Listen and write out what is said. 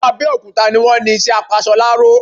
Àwọn Abẹ́okúta ni wọ́n ni isẹ́ apasoláró